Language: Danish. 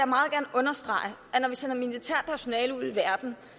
meget gerne understrege at når vi sender militærpersonale ud i verden